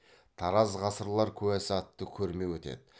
тараз ғасырлар куәсі атты көрме өтеді